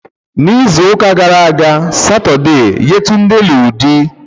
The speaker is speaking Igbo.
N'izuụka gara aga Satọde, Yetunde lụrụ di.